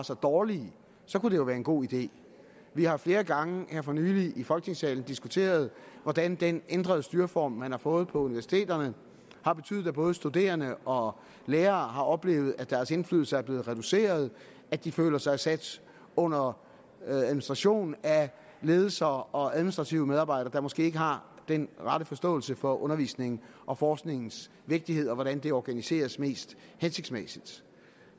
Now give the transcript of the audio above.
så dårlige kunne det jo være en god idé vi har flere gange her for nylig i folketingssalen diskuteret hvordan den ændrede styreform man har fået på universiteterne har betydet at både studerende og lærere har oplevet at deres indflydelse er blevet reduceret at de føler sig sat under administration af ledelser og administrative medarbejdere der måske ikke har den rette forståelse for undervisningens og forskningens vigtighed og hvordan det organiseres mest hensigtsmæssigt